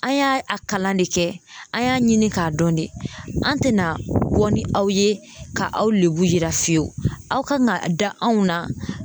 An y'a a kalan de kɛ, an y'a ɲini k'a dɔn de, an tɛna bɔ ni aw ye, ka aw lebu yira fiyewu aw kan ka da anw na